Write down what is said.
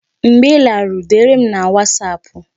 Mgbe ị laruru, dere m na wasapụ